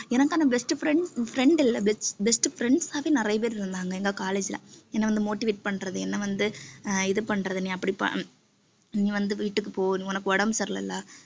எனக்கான best friend, friend இல்லை best friends ஆவே நிறைய பேர் இருந்தாங்க எங்க college ல என்னை வந்து motivate பண்றது என்னை வந்து ஆஹ் இது பண்றது நீ அப்படி நீ வந்து வீட்டுக்கு போ நீ உனக்கு உடம்பு சரியில்லை இல்ல